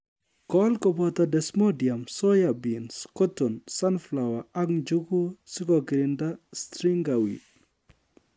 Kol koboto desmodium, soya beans, cotton, sunflower ak njuguk sikokirinda striga weed